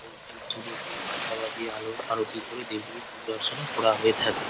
এবং ধুপ ধুনো দিয়ে ঘণ্টা বাজিয়ে আলো আরতি করে দেবদেবীর পুজো অর্চনা করা হয়ে থাকে।